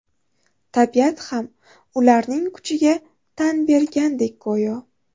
Tabiat ham ularning kuchiga tan bergandek go‘yo.